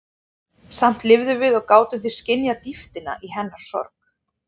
Samt lifðum við og gátum því skynjað dýptina í hennar sorg.